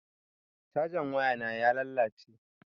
Cajan wayana ya lalace.